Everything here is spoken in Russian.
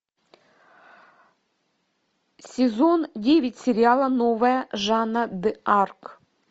сезон девять сериала новая жанна д арк